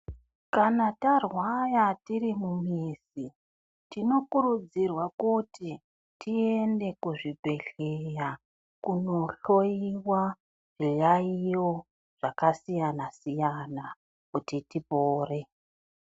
Kana tarwara tiri mumizi tinokurudzirwa kuti tiende kuzvibhehleya kundohloyiwa zviyaiyo zvakasiyana siyana kuti tipore.